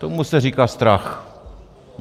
Tomu se říká strach.